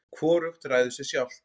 hvorugt ræður sér sjálft